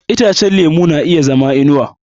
Itacen lemu na iya zama babban ta zama inuwa.